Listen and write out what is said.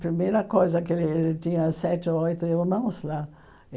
Primeira coisa que ele tinha sete ou oito irmãos lá.